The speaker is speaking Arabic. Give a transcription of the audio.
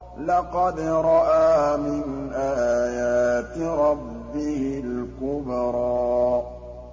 لَقَدْ رَأَىٰ مِنْ آيَاتِ رَبِّهِ الْكُبْرَىٰ